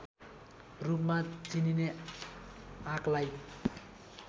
रूपमा चिनिने आँकलाई